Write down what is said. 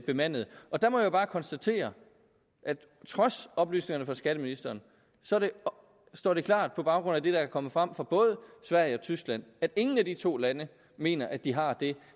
bemandede der må jeg bare konstatere at trods oplysningerne fra skatteministeren står det klart på baggrund af det der er kommet frem fra både sverige og tyskland at ingen af de to lande mener at de har det